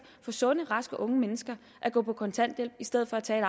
for sunde og raske unge mennesker at gå på kontanthjælp i stedet for at tage